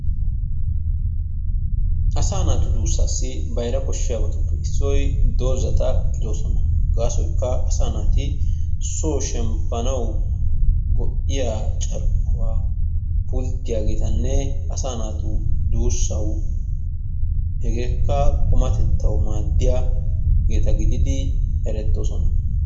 Asaa naatu duusaasi bayra koshshiyabatuppe issoy dozzata gidoosona. Gaasoykka asaa naati soo shemppanawu go'iya carkkuwa pulttiyageetanne asaa naatu duussawu hegekka qumatettawu maddiyageta gidid erettoosona.